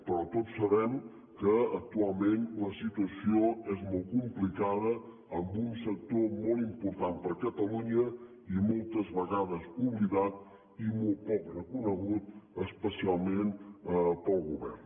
però tots sabem que actualment la situació és molt complicada en un sector molt important per a catalunya i moltes vegades oblidat i molt poc reconegut especialment pel govern